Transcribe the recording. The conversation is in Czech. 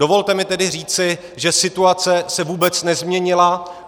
Dovolte mi tedy říci, že situace se vůbec nezměnila.